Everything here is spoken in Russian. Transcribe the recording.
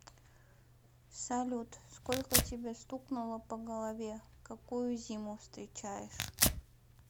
салют сколько тебе стукнуло по голове какую зиму встречаешь